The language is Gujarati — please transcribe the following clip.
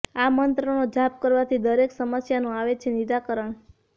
આ મંત્રનો જાપ કરવાથી દરેક સમસ્યાનું આવે છે નિરાકરણ